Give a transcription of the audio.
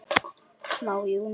Maí Júní Júlí Ágúst